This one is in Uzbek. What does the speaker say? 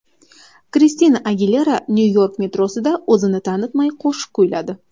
Kristina Agilera Nyu-York metrosida o‘zini tanitmay qo‘shiq kuyladi .